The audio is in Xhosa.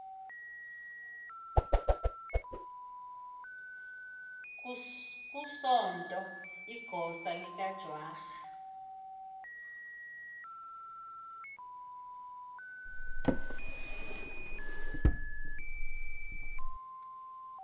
kusonto igosa likajwara